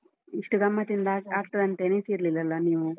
ಇಷ್ಟು ಗಮ್ಮತಿಂದ ಆಗ್ತ~ ಆಗ್ತದಂತೆಣಿಸಿರಲಿಲ್ಲ ನೀವು?